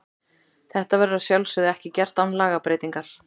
Þetta verður að sjálfsögðu ekki gert án lagabreytingar.